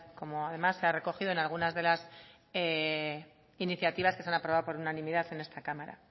como además se ha recogido en algunas de las iniciativas que se han aprobado por unanimidad en esta cámara